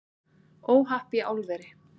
Óhapp í álveri